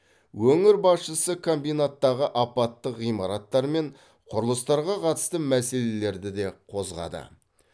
өңір басшысы комбинаттағы апаттық ғимараттар мен құрылыстарға қатысты мәселелерді де қозғады